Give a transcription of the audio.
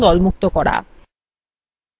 দলবদ্ধ এবং দলমুক্ত করা